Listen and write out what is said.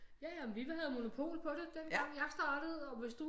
Ja ja vi havde jo monopol på det dengang jeg startede og hvis du